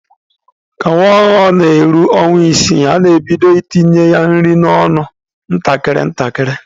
Ka nwa ọhụrụ na-eru ọnwa isii, a na-ebido itinye ya nri n'ọnụ ntakịrị ntakịrị.